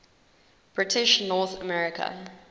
british north america